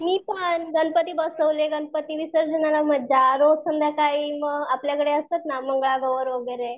मी पण गणपती बसवले, गणपती विसर्जनाला मज्जा, रोज संध्याकाळी म आपल्याकडे असतात ना मंगळा गौर वैगरे